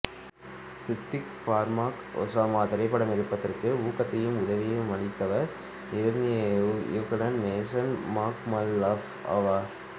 Siddique Barmak Osama திரைப்படம் எடுப்பதற்கு பெரும் ஊக்கத்தையும் உதவியையும் அளித்தவர் ஈரானிய இயக்குனர் மோசன் மக்மால்பஃப் ஆவார்